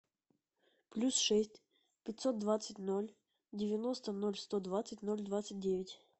плюс шесть пятьсот двадцать ноль девяносто ноль сто двадцать ноль двадцать девять